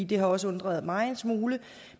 det har også undret mig en smule